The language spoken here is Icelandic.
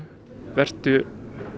vertu